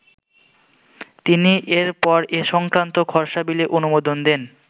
তিনি এর পর এ সংক্রান্ত খসড়া বিলে অনুমোদন দেন।